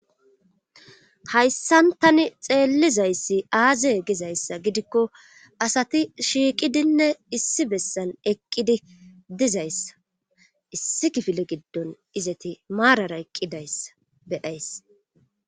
hayssantani xeellizayssi aaze gizayssa gidikko asati shiiqidinne issi bessan eqqidi dizayssa issi kifile giddon izati maarara eqqidayssa beyayssa